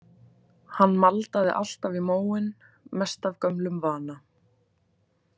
Hann maldaði alltaf í móinn, mest af gömlum vana.